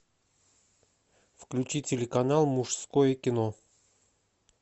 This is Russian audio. включи телеканал мужское кино